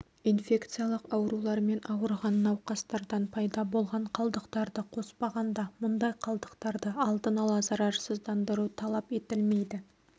инфекциялық аурулармен ауырған науқастардан пайда болған қалдықтарды қоспағанда мұндай қалдықтарды алдын ала зарарсыздандыру талап етілмейді